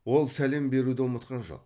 ол сәлем беруді ұмытқан жоқ